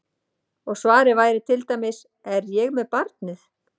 Og svarið væri til dæmis: Er ég með barnið?